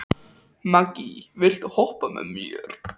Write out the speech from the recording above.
Maggý, viltu hoppa með mér?